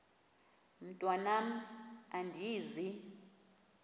mntwan am andizi